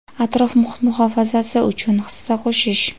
atrof-muhit muhofazasi uchun hissa qo‘shish.